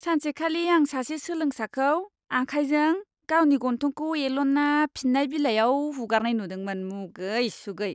सानसेखालि आं सासे सोलोंसाखौ आखाइजों गावनि गन्थंखौ एल'ना फिननाय बिलाइयाव हुगारनाय नुदोंमोन, मुगै सुगै!